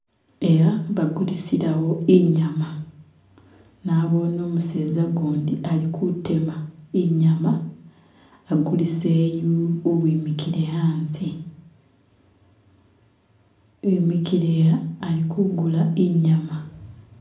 Eha bagulisilawo inyama, Nabone umuseza gundi alikutema inyama agulise yu uwimikile hanze imikile ha ali kugula inyama